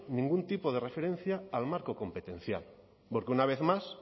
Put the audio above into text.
ningún tipo de referencia al marco competencial porque una vez más